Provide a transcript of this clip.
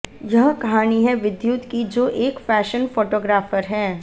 यह कहानी है विद्युत की जो एक फैशन फोटोग्राफर है